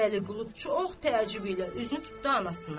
Vəliqulu çox təəccüblə üzünü tutdu anasına.